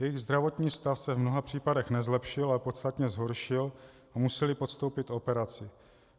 Jejich zdravotní stav se v mnoha případech nezlepšil, ale podstatně zhoršil a museli podstoupit operaci.